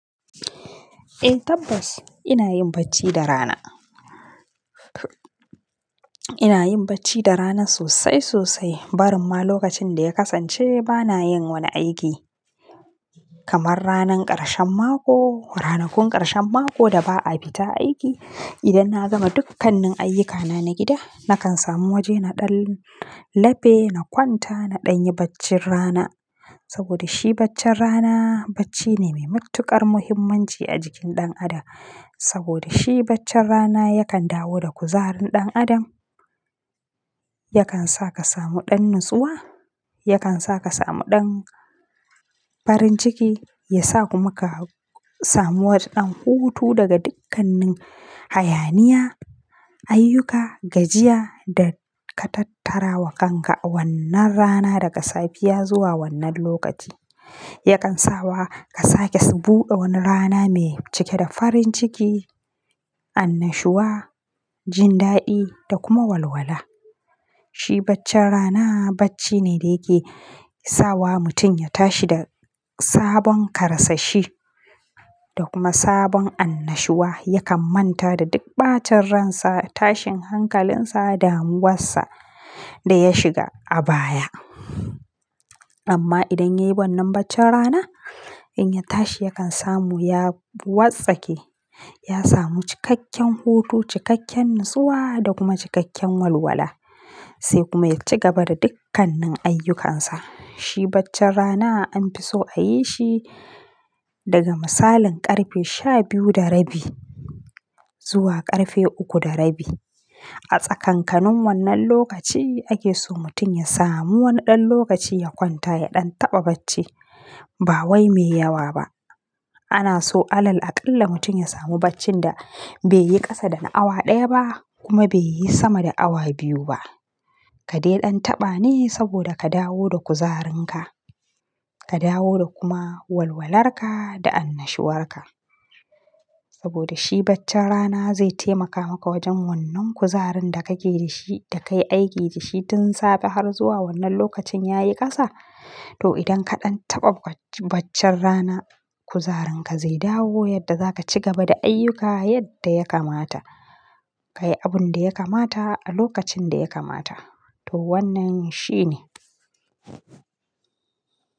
Eh tabbas ina yin bacci da rana. Ina yin bacci da rana sosai sosai. Barin ma lokacin da ya kasance bana yin wani aiki. Kamar ranar ƙarshen mako, ranakun ƙarshen mako da ba a fita aiki. Idan na gama dukkanin ayyukana na gida nakan samu waje naɗan lafe na kwanta na ɗanyi bacci rana. Saboda shi baccin rana bacci ne mai matuƙar muhimmanci a jikin ɗan adam. Saboda shi baccin rana yakan dawo da kuzarin ɗan adam, yakan sa ka samu ɗan natsuwa, yakan sa ka samu ɗan farin ciki, yasa kuma ka samu wata ɗan hutu daga dukkanin hayaniya, ayyuka, gajiya da ka tattara wa kanka a wannan rana daga safiya zuwa wannan lokaci. Yakan sawa ka sake su ɓuɗe wani rana mai cike da farin ciki, annashuwa, jin daɗi da kuma walwala. Shi baccin rana bacci ne da yake sawa mutum ya tashi da sabon karsashi da kuma sabon annashuwa. Yakan manta da duk ɓacin ransa, tashin hankalinsa da damuwar sa da ya shiga a baya. Amma idan yayi wannan baccin rana in ya tashi yakan samu ya wartsake, ya samu cikakken hutu, cikakken natsuwa da kuma cikakken walwala. Sai kuma ya ci gaba da dukkanin ayyukansa. Shi baccin rana an fi so a yi shi daga misalin ƙarfe shabiyu da rabi zuwa ƙarfe uku da rabi. A tsakankanin wannan lokaci ake so mutum ya samu wani ɗan lokaci ya kwanta ya ɗan taɓa bacci. Ba wai mai yawa ba. Ana so alal aƙalla mutum ya samu bacci da bai yi ƙasa da na awa ɗaya ba kuma bai yi sama da awa biyu ba. Ka dai ɗan taɓa ne saboda ka dawo da kuzarinka, ka dawo da kuma walwalarka da annashuwarka. Saboda shi baccin rana zai taimaka maka wajen wannan kuzarin da kake da shi da ka yi aiki da shi tun safe har zuwa wannan lokacin ya yi ƙasa. To idan ka ɗan taɓa baccin rana kuzarin ka zai dawo yadda za ka cigaba da ayyuka yadda ya kamata. Ka yi abun da ya kamata a lokacin da ya kamata. To wannan shi ne.